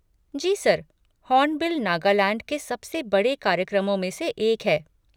जी sir, Hornbill Nagaland के सबसे बड़े कार्यक्रमों में से एक है।